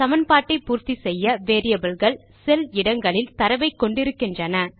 சமன்பாட்டை பூர்த்தி செய்ய வேரியபிள் கள் செல் இடங்களில் தரவை கொண்டு இருக்கின்றன